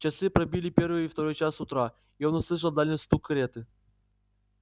часы пробили первый и второй час утра и он услышал дальний стук кареты